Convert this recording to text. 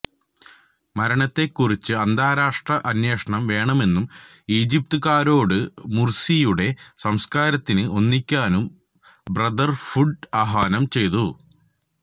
മരണത്തെക്കുറിച്ച് അന്താരാഷ്ട്ര അന്വേഷണം വേണമെന്നും ഈജിപ്തുകാരോട് മുർസിയുടെ സംസ്കാരത്തിന് ഒന്നിക്കാനും ബ്രദർ ഹുഡ് ആഹ്വാനം ചെയ്തു